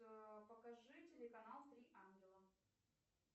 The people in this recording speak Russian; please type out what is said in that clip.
покажи телеканал три ангела